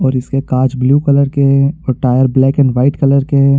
और इसके काच ब्लू कलर के और tyre black and white colour के --